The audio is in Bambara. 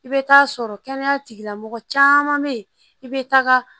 I bɛ taa sɔrɔ kɛnɛya tigilamɔgɔ caman bɛ yen i bɛ taga